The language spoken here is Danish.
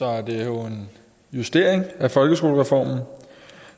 er det jo en justering af folkeskolereformen